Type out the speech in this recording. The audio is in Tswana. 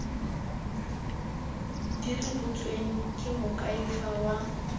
di rebotsweng ke moakhaefe wa